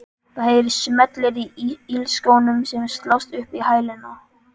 Það heyrast smellir í ilskónum sem slást upp í hælana.